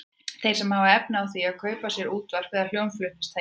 Þeir sem hafa efni á því að kaupa sér útvarp eða hljómflutningstæki.